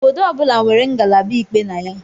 Obodo ọ bụla nwere ngalaba ikpe na ya